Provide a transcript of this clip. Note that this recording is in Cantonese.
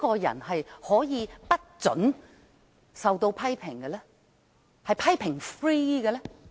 誰可以不准別人批評，是"批評 -free" 的呢？